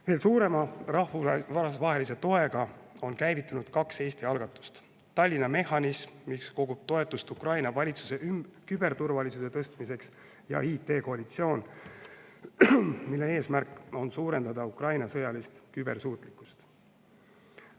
Veel suurema rahvusvahelise toega on käivitunud kaks Eesti algatust: Tallinna mehhanism, mis kogub toetust Ukraina valitsuse küberturvalisuse tõstmiseks, ja IT-koalitsioon, mille eesmärk on suurendada Ukraina sõjalist kübersuutlikkust.